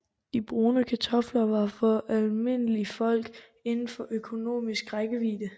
At brune kartofler var for almindelig folk indenfor økonomisk rækkevide